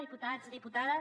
diputats diputades